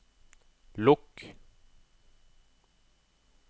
lukk